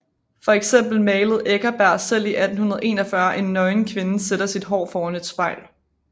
For eksempel malede Eckerberg selv i 1841 En nøgen kvinde sætter sit hår foran et spejl